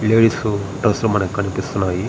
Ladies కు dress లు మనకి కనిపిస్తున్నాయి.